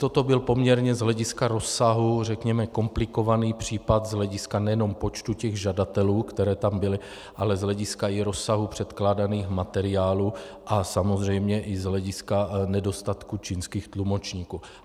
Toto byl poměrně z hlediska rozsahu, řekněme, komplikovaný případ z hlediska nejenom počtu těch žadatelů, který tam byl, ale z hlediska i rozsahu předkládaných materiálů a samozřejmě i z hlediska nedostatku čínských tlumočníků.